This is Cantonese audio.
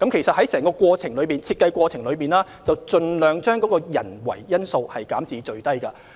在整個抽選過程中，會盡量將人為因素減至最低。